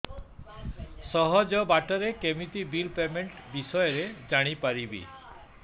ସହଜ ବାଟ ରେ କେମିତି ବିଲ୍ ପେମେଣ୍ଟ ବିଷୟ ରେ ଜାଣି ପାରିବି